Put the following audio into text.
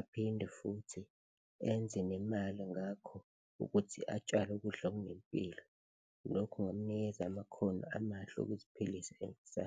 aphinde futhi enze nemali ngakho ukuthi atshale ukudla okunempilo, lokhu kungamnikeza amakhono amahle okuziphilisa .